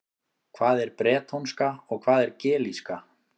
Hvað er bretónska og hvað er gelíska?